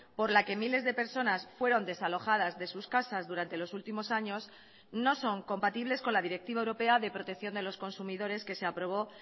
por la que miles de personas fueron desalojadas de sus casas durante los últimos años no son compatibles con la directiva europea de protección de los consumidores que se aprobó